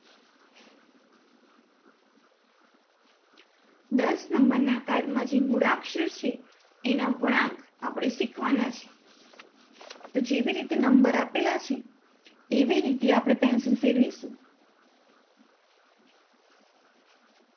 દશ number card માં જે મૂળાક્ષર છે એના વળાંક આપણે શિખવાના છે, તો જેવી રીતે નંબર આપેલા છે, એવી રીતે આપણ pencil ફેરવીશું.